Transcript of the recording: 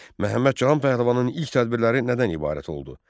Məhəmməd Cahan Pəhləvanın ilk tədbirləri nədən ibarət oldu?